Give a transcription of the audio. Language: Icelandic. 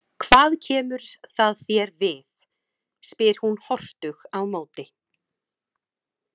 Hvað kemur það þér við, spyr hún hortug á móti.